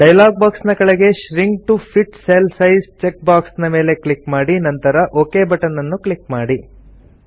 dialogue box ನ ಕೆಳಗೆ shrink to fit cell size check box ನ ಮೇಲೆ ಕ್ಲಿಕ್ ಮಾಡಿ ನಂತರ ಒಕ್ ಬಟನ್ ಅನ್ನು ಕ್ಲಿಕ್ ಮಾಡಿ